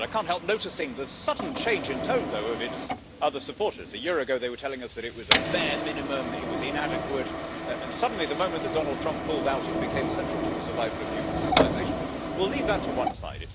I cannot help noticing the sudden change in tone, though, of its other supporters. A year ago, they were telling us that it was a bare minimum, that it was inadequate, and suddenly, the moment Donald Trump pulled out, it became central to the survival of human civilization. But we will leave that to one side.